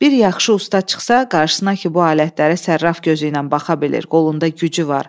Bir yaxşı usta çıxsa qarşısına ki, bu alətlərə sərraf gözü ilə baxa bilir, qolunda gücü var.